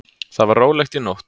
Þar var rólegt í nótt.